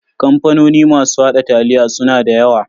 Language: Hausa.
Kamfanoni masu haɗa taliya suna da yawa.